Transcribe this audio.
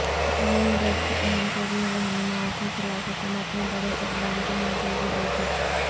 ن لیگ کے اہم ترین رہنمائوں کے خلاف حکومت نےبڑےاقدام کی منظوری دیدی